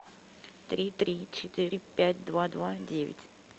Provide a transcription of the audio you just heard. три три четыре пять два два девять